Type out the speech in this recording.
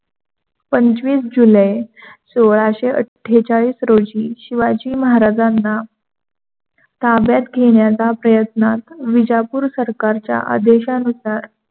पंचवीस जुलै सोळाशे अठ्ठेचाळीस शिवाजी महाराजांना ताब्यात घेणाचा पयत्न विजापूर सरकारच्या आदेशानुसार